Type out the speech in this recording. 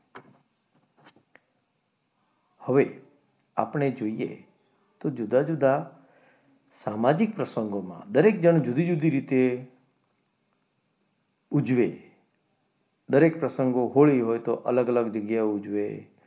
હવે આપણે જોઈએ તો જુદા જુદા સામાજિક પ્રસંગોમાં દરેક જણ જુદી જુદી રીતે ઉજવે દરેક પ્રસંગો હોય એવા તો અલગ અલગ જગ્યાએ ઉજવે,